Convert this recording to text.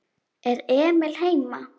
Er Emil heima?